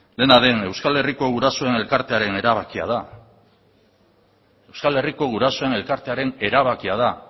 dena den euskal herriko gurasoen elkartearen erabakia da euskal herriko gurasoen elkartearen erabakia da